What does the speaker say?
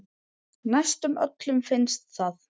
Næstum öllum finnst það.